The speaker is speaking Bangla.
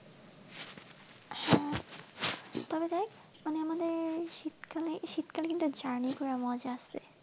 তবে দেখ মানে শীতকালে, শীতকালে journey করে মজা আছে